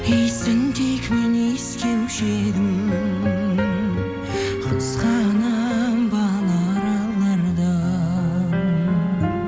иісін тек мен иіскеуші едім қызғанамын бал аралардан